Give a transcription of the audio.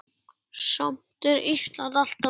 Samt er Ísland alltaf nærri.